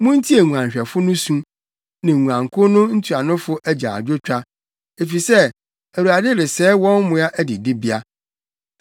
Muntie nguanhwɛfo no su, ne nguankuw no ntuanofo agyaadwotwa, efisɛ Awurade resɛe wɔn mmoa adidibea.